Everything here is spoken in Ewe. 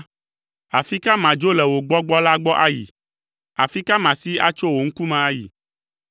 Afi ka madzo le wò Gbɔgbɔ la gbɔ ayi? Afi ka masi atso wò ŋkume ayi?